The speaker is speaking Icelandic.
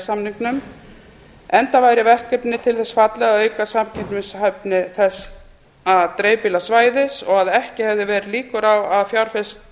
samningnum enda væri verkefnið til þess fallið að auka samkeppnishæfni þessa dreifbýla svæðis og að ekki hefðu verið líkur á að fjárfest